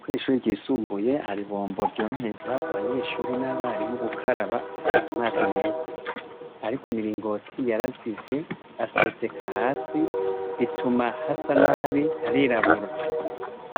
Kw'ishure ryisumbuye hari ibombo ryorohereza abanyenshure n'abarimu gukaraba amazi meza ariko imiringoti yarazivye aseseka hasi bituma hasa nabi hakirabura